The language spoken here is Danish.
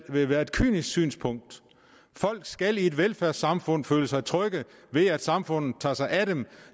ville være et kynisk synspunkt folk skal i et velfærdssamfund føle sig trygge og vide at samfundet tager sig af dem